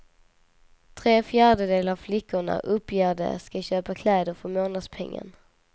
Tre fjärdedelar av flickorna uppger de ska köpa kläder för månadspengen.